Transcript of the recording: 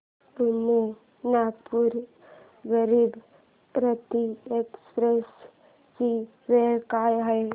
Pune Nagpur Garib Rath express ची वेळ काय आहे